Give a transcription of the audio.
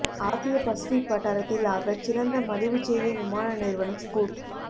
ஆசிய பசிஃபிக் வட்டாரத்தில் ஆகச் சிறந்த மலிவுச்சேவை விமான நிறுவனம் ஸ்கூட்